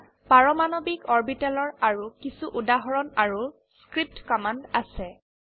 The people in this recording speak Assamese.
ইয়াত পাৰমাণবিক অৰবিটেলৰ আৰু কিছো উদাহৰণ আৰু স্ক্ৰীপ্ট কমান্ড আছে